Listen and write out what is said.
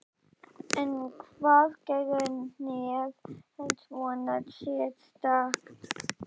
En hvað gerir hnéð svona sérstakt?